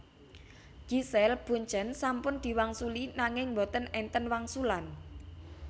Giselle Bundchen sampun diwangsuli nanging mboten enten wangsulan